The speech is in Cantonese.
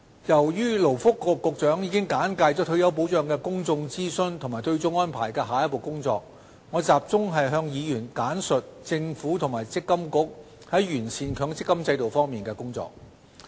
由於勞工及福利局局長已簡介退休保障的公眾諮詢和對沖安排的下一步工作，我集中向議員簡述政府和強制性公積金計劃管理局就完善強積金制度的工作。